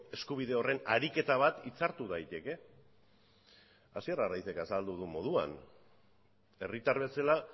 eskubide horren ariketa bat hitzartu daiteke asier arraizek azaldu duen moduan herritar bezala